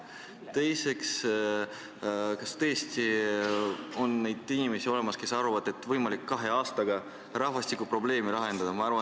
Teiseks, kas tõesti on olemas inimesi, kes arvavad, et on võimalik kahe aastaga rahvastikuprobleeme lahendada?